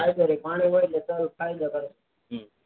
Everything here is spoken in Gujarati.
હા ફાયદો રે પાણી વેડ્જો તો એ જબર થાય